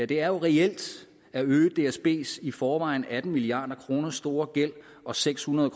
det er reelt at øge dsbs i forvejen atten milliard kroner store gæld og seks hundrede